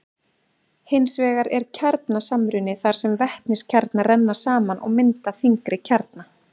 hins vegar er kjarnasamruni þar sem vetniskjarnar renna saman og mynda þyngri kjarna